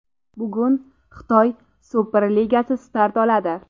Bugun Xitoy Super ligasi start oladi.